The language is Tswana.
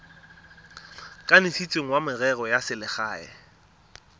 kanisitsweng wa merero ya selegae